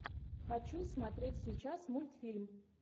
хочу смотреть сейчас мультфильм